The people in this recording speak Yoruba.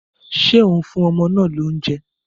Ṣé ò ń fún ọmọ náà lóúnjẹ?